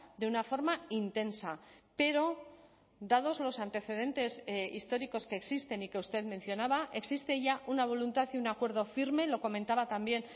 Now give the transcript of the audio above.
de una forma intensa pero dados los antecedentes históricos que existen y que usted mencionaba existe ya una voluntad y un acuerdo firme lo comentaba también